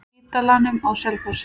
Spítalanum á Selfossi.